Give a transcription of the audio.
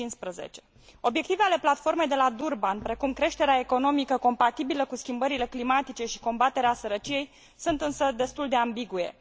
2015. Obiectivele Platformei de la Durban, precum creșterea economică compatibilă cu schimbările climatice și combaterea sărăciei, sunt însă destul de ambigue.